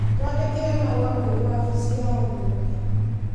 Twandĩkĩre marũa kũrĩ wabici ya rũhonge